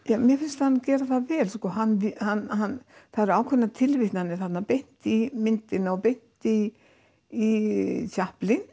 ja mér finnst hann gera það vel sko hann hann hann það eru ákveðnar tilvitnanir þarna beint í myndina og beint í í